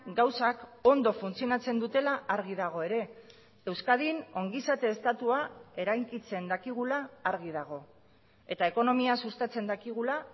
gauzak ondo funtzionatzen dutela argi dago ere euskadin ongizate estatua eraikitzen dakigula argi dago eta ekonomia sustatzen dakigula